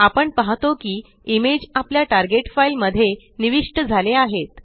आपण पाहतो की इमेज आपल्या टार्गेट फाइल मध्ये निविष्ट झाले आहेत